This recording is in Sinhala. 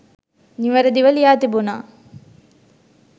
නිවැරදිව ලියා තිබුණා.